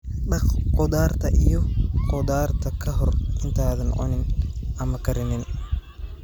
Dhaq khudaarta iyo khudaarta ka hor intaadan cunin ama karinin.